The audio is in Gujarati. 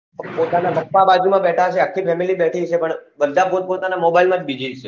પોતાના પપ્પા બાજુમાં બેઠા હશે આખી family બેથી હશે પણ બધા પોત પોતાના mobile માં જ busy છે